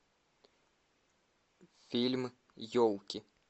фильм елки